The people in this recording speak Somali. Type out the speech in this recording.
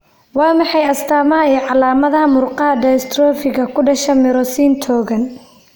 Waa maxay astamahaa iyo calaamadaha murqaha dystrophiga, ku dhasha, merosin togan?